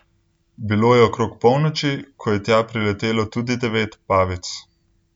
Bilo je okrog polnoči, ko je tja priletelo tudi devet pavic.